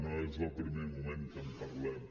no és el primer moment que en parlem